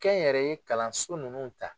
Kɛ n yɛrɛ ye kalanso nunnu ta